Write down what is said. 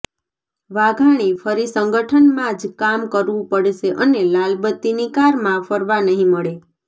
વાઘાણી ફરી સંગઠનમાં જ કામ કરવું પડશે અને લાલ બત્તીની કારમાં ફરવા નહિ મળે